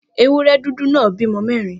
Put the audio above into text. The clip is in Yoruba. Ewúré̩ dúdú náà bímo̩ mé̩rin